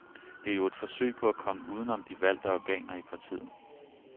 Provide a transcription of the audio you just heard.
Det er jo et forsøg på at komme uden om de valgte organer i partiet.